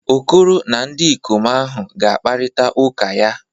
Okoro na ndikom ahu ga-akparita uka ya.